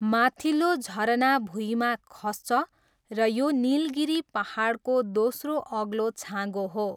माथिल्लो झरना भुइँमा खस्छ र यो निलगिरी पाहाडको दोस्रो अग्लो छाँगो हो।